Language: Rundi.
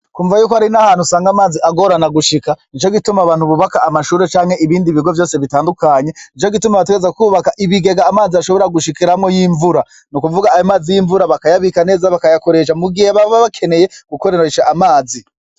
Kumva yuko hari n'ahantu usanga amazi agorana gushika ni co gituma bantu bubaka amashure canke ibindi bigo vyose bitandukanye ni co gituma abatereza kwubaka ibigega amazi ashobora gushikiramwo y'imvura ni ukuvuga a mazi y'imvura bakayabika neza bakayakoresha mugihe baba bakeneye gukoreresha amazi.